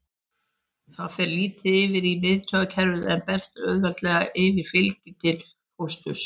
Það fer lítið yfir í miðtaugakerfið en berst auðveldlega yfir fylgju til fósturs.